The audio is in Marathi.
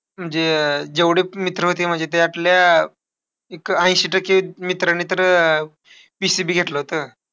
म्हणजे अह जेवढे पण मित्र होते माझे त्यातल्या एक ऐंशी टक्के मित्रांनी तर अह PCB घेतलं होतं.